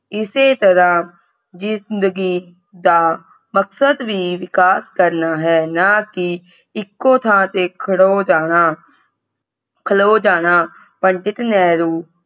ਇਸੇ ਤਰ੍ਹਾਂ ਜਿੰਦਗੀ ਦਾ ਮਕਸਦ ਵੀ ਵਿਕਾਸ ਕਰਨਾ ਹੈ ਨਾ ਕਿ ਇੱਕੋ ਥਾਂ ਤੇ ਖੜੋ ਜਾਣਾ ਖਲੋ ਜਾਣਾ ਪੰਡਿਤ ਨਹਿਰੂ